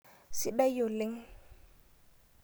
Sidai oleng.